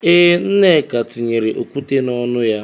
Ee, Nneka tinyere okwute n'ọnụ ya.